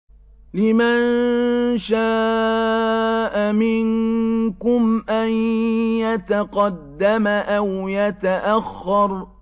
لِمَن شَاءَ مِنكُمْ أَن يَتَقَدَّمَ أَوْ يَتَأَخَّرَ